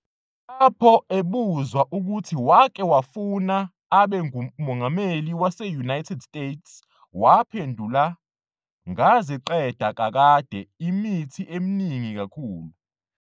Lapho ebuzwa ukuthi wake wafuna abe umongameli wase-United States, waphendula- "Ngaziqeda kakade imithi eminingi kakhulu.